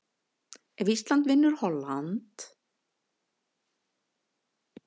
Ef Ísland vinnur og Holland vinnur, þá fer Holland í umspilið og Tyrkland ekki.